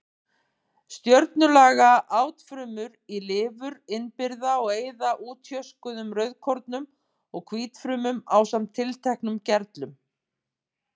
Stjörnulaga átfrumur í lifur innbyrða og eyða útjöskuðum rauðkornum og hvítfrumum ásamt tilteknum gerlum.